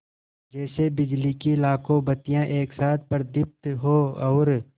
जैसे बिजली की लाखों बत्तियाँ एक साथ प्रदीप्त हों और